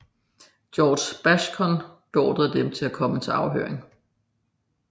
George Bascom beordrede dem at komme til afhøring